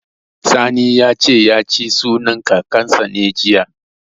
Sani ya ce, ya ci sunan Kakansa ne, jiya.